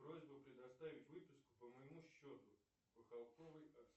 просьба предоставить выписку по моему счету